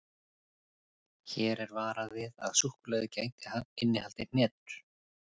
Hér er varað við að súkkulaðið gæti innihaldið hnetur.